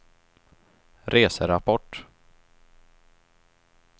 reserapport